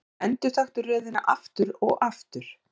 Endurtaktu röðina aftur og aftur.